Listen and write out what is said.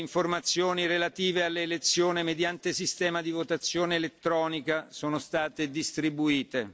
Le informazioni relative all'elezione mediante sistema di votazione elettronica sono state distribuite.